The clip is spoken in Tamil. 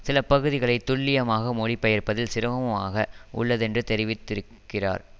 சில பகுதிகளை துல்லியமாக மொழிபெயர்ப்பதில் சிரமமாக உள்ளதென்று தெரிவித் திருக்கிறார்